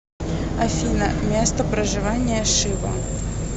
афина место проживания шива